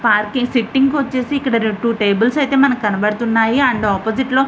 Parking sitting వచ్చేసి ఇక్కడ two tables ఐతే మనకు కనబడుతునాయి. అండ్ ఒప్పోజిట్ లో --